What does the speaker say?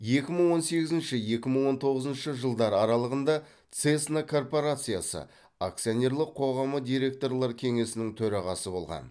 екі мың он сегізінші екі он тоғызыншы жылдар аралығында цесна корпорациясы акционерлік қоғамы директорлар кеңесінің төрағасы болған